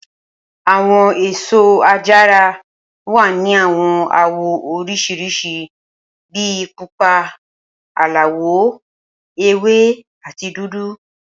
Awọn eso ajara wa ni awọn awọ oriṣiriṣi bi pupa, alawọ ewe, ati dudu.